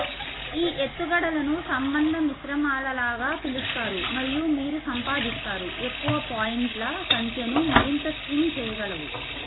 ఈ ఎత్తుగడలను సంబంధ మిశ్రమాలలాగా పిలుస్తారు మరియు మీరు సంపాదిస్తారు ఎక్కువ పాయింట్ల సంఖ్యను మరింత స్ట్రింగ్ చేయగలవు